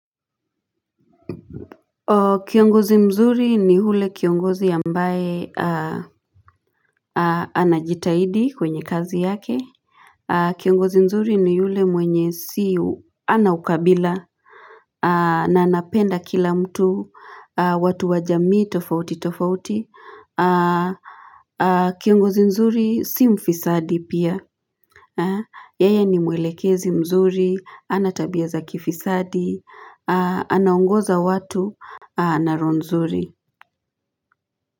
Kiongozi mzuri ni yule kiongozi ambae anajitahidi kwenye kazi yake Kiongozi mzuri ni yule mwenye siu ana ukabila na anapenda kila mtu watu wajamii tofauti tofauti Kiongozi mzuri si mfisadi pia Yaya ni mwelekezi mzuri anatabia za kifisadi anaongoza watu anaroho nzuri.